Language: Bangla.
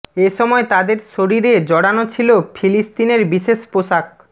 এ সময় তাদের শরীরে জড়ানো ছিল ফিলিস্তিনের বিশেষ পোশাক